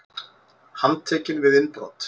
Handtekinn við innbrot